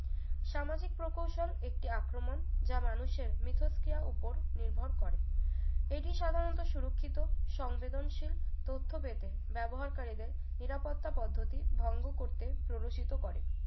সামাজিক প্রকৌশল একটি আক্রমণ যা মানুষের মিথস্ক্রিয়া উপর নির্ভর করে এটি সাধারণত সুরক্ষিত সংবেদনশীল তথ্য পেতে ব্যবহারকারীদের নিরাপত্তা পদ্ধতি ভঙ্গ করতে প্ররোচিত করে